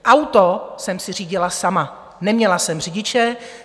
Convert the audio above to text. Auto jsem si řídila sama, neměla jsem řidiče.